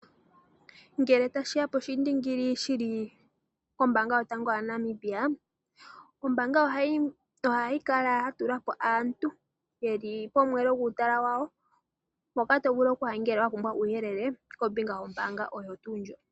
Ngele tashiya poshindingili shili pombaanga yotango yaNamibia, ombaanga ohayi kala yatula po aantu, yeli pomweelo gwuutala wawo, mpoka tovulu okuya ngele wapumbwa uuyelele kombinga yombaanga oyo tuu ndjoka.